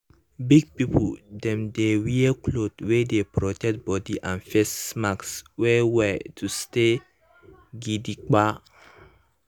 big people dem dey wear cloth wey dey protect body and face mask well well to stay gidigba.